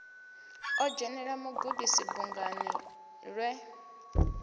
o dzhenela mugudisi bungani lwe